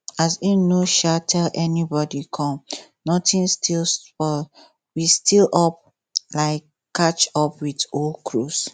as im no um tell anybody come notin still spoil we still up um catch up with old cruise